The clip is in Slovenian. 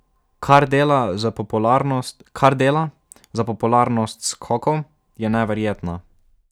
Kar dela za popularnost skokov, je neverjetno.